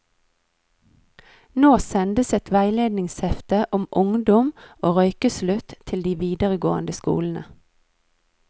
Nå sendes et veiledningshefte om ungdom og røykeslutt til de videregående skolene.